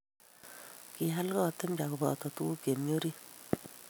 Kial kot mpya koboto tukuk che mi orit.